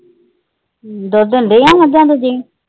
ਦੁੱਧ ਦਿੰਦੀਆਂ ਮੱਝਾਂ ਦੂਜੀਆਂ?